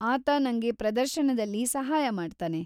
ಆತ ನಂಗೆ ಪ್ರದರ್ಶನದಲ್ಲಿ ಸಹಾಯ ಮಾಡ್ತಾನೆ.